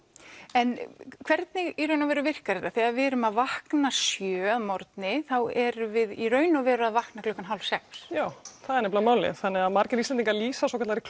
en hvernig í raun og veru virkar þetta þegar við erum að vakna sjö að morgni þá erum við í raun og veru að vakna klukkan hálf sex já það er nefnilega málið þannig að margir Íslendingar lýsa svokallaðri